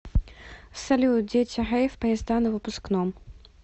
салют дети рэйв поезда на выпускном